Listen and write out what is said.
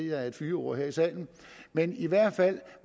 er et fyord her i salen men i hvert fald